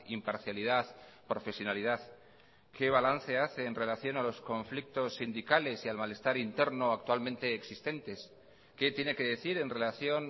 imparcialidad profesionalidad qué balance hace en relación a los conflictos sindicales y al malestar interno actualmente existentes qué tiene que decir en relación